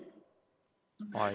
Aeg!